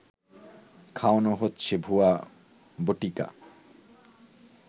খাওয়ানো হচ্ছে ভুয়া বটিকা